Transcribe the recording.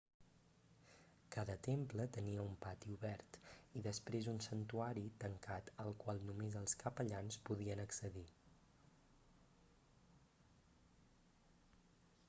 cada temple tenia un pati obert i després un santuari tancat al qual només els capellans podien accedir